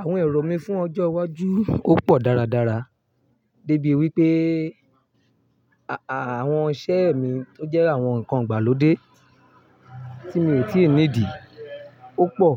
Àwon èrò mí fún ojó iwájú o pò dàrá dàrá débi wípé àwon isé mi tó jé àwon nkan ìgbàlódé tí mi ò tí i ní dì o pò